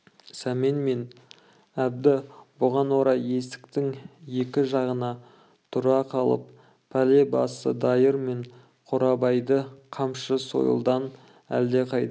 сәмен мен әбді бұған орай есіктің екі жағына тұра қалып пәле басы дайыр мен қорабайды қамшы сойылдан әлдеқайда